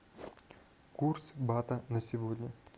курс бата на сегодня